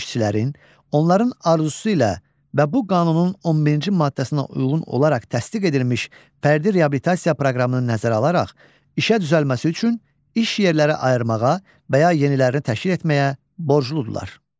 İşçilərin onların arzusu ilə və bu qanunun 11-ci maddəsinə uyğun olaraq təsdiq edilmiş fərdi reabilitasiya proqramını nəzərə alaraq işə düzəlməsi üçün iş yerləri ayırmağa və ya yenilərini təşkil etməyə borcludurlar.